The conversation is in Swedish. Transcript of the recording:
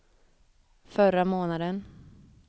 förra månaden